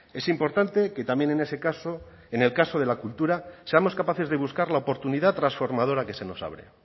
es importante que también en ese caso en el caso de la cultura seamos capaces de buscar la oportunidad transformadora que se nos abre